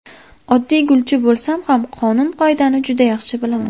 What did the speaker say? Oddiy gulchi bo‘lsam ham qonun-qoidani juda yaxshi bilaman.